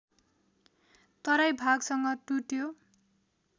तराई भागसँग टुट्यो